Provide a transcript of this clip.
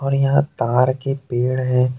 और यहां ताड़ के पेड़ है।